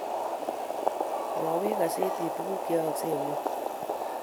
Mwowech kasetit tuguk Che yooksei eng' ing'wony